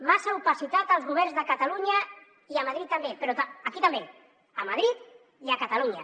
massa opacitat als governs de catalunya i a madrid també però aquí també a madrid i a catalunya